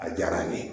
A diyara a ye